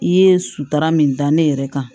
I ye sutara min da ne yɛrɛ kan